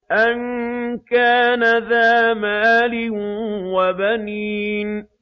أَن كَانَ ذَا مَالٍ وَبَنِينَ